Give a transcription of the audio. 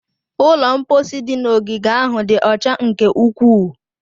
Ụlọ mposi dị n'ogige ahụ dị ọcha nke ukwuu.